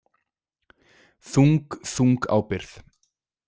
Þung, þung ábyrgð.